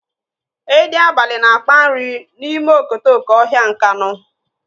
Edi abalị na-akpa nri n'ime okotoko ọhịa Nkanu.